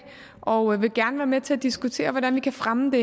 og vil gerne være med til at diskutere hvordan vi kan fremme det